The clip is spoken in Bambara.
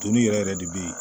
Toni yɛrɛ yɛrɛ de be yen